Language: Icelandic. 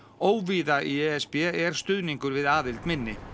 óvíða í e s b er stuðningur við aðild minni